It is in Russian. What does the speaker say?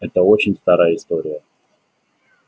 это очень старая история